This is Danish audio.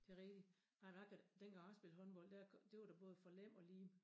Det rigtig ej jeg kan da dengang jeg spillede håndbold det var da både for Lem og Lihme